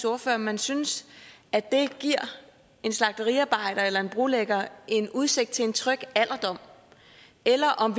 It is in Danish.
ordfører om man synes at det giver en slagteriarbejder eller en brolægger en udsigt til en tryg alderdom eller om